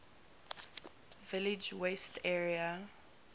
village west area